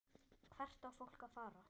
Hvert á fólk að fara?